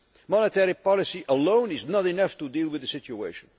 mix. Monetary policy alone is not enough to deal with the situation.